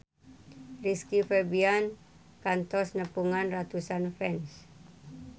Rizky Febian kantos nepungan ratusan fans